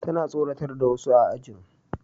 Tana tsoratar da wasu a ajin